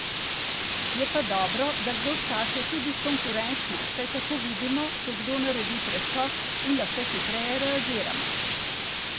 Je pa dobro, da kdo skače tudi s konkurenčno, saj tako vidimo, če kdo naredi preskok, in lahko hitreje reagiramo.